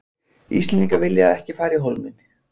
Íslendingar vilja ekki fara í Hólminn